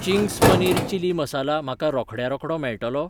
Ching's paneer chilli masala म्हाका रोखड्या रोखडो मेळटलो?